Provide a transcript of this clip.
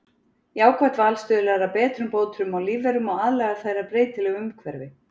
Jákvætt val stuðlar að betrumbótum á lífverum og aðlagar þær að breytilegu umhverfi.